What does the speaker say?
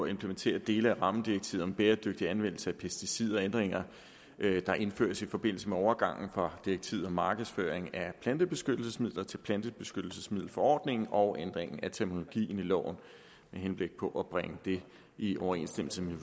implementerer dele af rammedirektivet om bæredygtig anvendelse af pesticider ændringer der indføres i forbindelse med overgangen fra direktivet om markedsføring af plantebeskyttelsesmidler til plantebeskyttelsesmiddelforordningen og ændring af terminologien i loven med henblik på at bringe den i overensstemmelse med